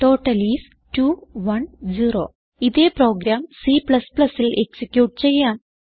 total is 210 ഇതേ program Cൽ execute ചെയ്യാം